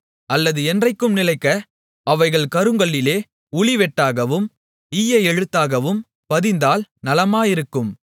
அல்லது என்றைக்கும் நிலைக்க அவைகள் கருங்கல்லிலே உளிவெட்டாகவும் ஈய எழுத்தாகவும் பதிந்தால் நலமாயிருக்கும்